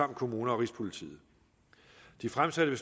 kommuner og rigspolitiet de fremsatte